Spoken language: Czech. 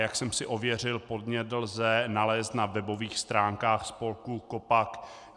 Jak jsem si ověřil, podnět lze nalézt na webových stránkách spolku KOPAC.